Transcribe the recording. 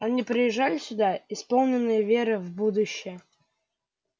они приезжали сюда исполненные веры в будущее